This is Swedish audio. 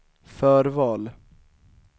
förval